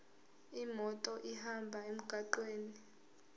imoto ihambe emgwaqweni